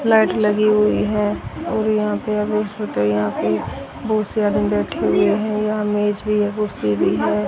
Light लगी हुई है और यहां पे यहां पे बहुत से आदमी बैठे हुए है यहां मेज भी है कुर्सी भी है।